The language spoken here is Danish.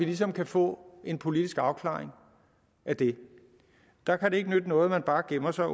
ligesom kan få en politisk afklaring af det der kan det ikke nytte noget at man bare gemmer sig